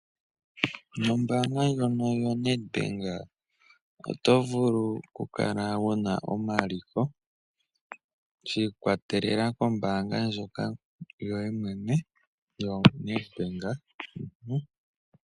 Nombaanga ndjono yoNedbank oto vulu okukala wu na omaliko shi ikwatelela kombaanga ndjoka yoye mwene yoNedbank.